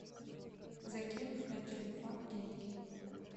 закинуть на телефон деньги